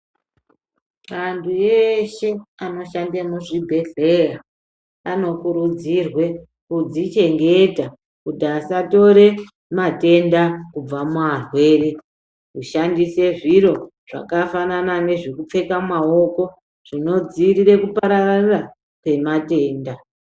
Antu eshe anoshande muzvibhedhleya anokurudzirwe kudzichengeta kuti asatore matenda kubva muarwere. Kushandise zviro zvakafanana nezvekupfeka mumaoko zvinodziirire kupararira kwematenda.